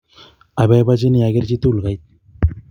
aboibochinii ager chii tugul kaitu